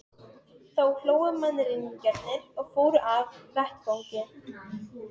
Þá hlógu mannræningjarnir og fóru af vettvangi.